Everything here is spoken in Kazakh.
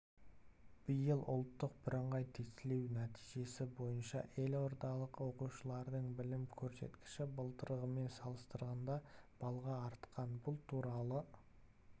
биыл ұлттық бірыңғай тестілеу нәтижесі бойынша елордалық оқушылардың білім көрсеткіші былтырғымен салыстырғанда балға артқан бұл туралы